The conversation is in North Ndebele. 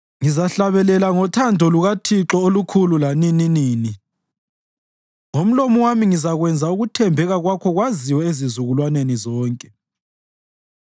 Ngizahlabelela ngothando lukaThixo olukhulu lanininini; ngomlomo wami ngizakwenza ukuthembeka kwakho kwaziwe ezizukulwaneni zonke.